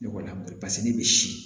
Ne kɔni a ma paseke ne bɛ si